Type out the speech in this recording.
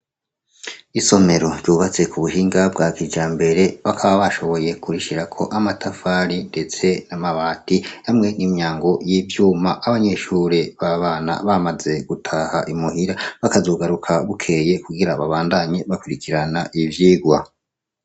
Isomero ryubatswe kubuhinga bwa kijambere bakaba bashoboye kurishirako amatafari ndetse namabati hamwe nimyango yivyuma abanyeshure babana bamaze gutaha i muhira bakazogaruka bukeye kugira babandanye bakurikirana ivyigwa